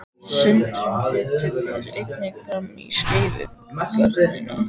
Sundrun fitu fer einnig fram í skeifugörninni.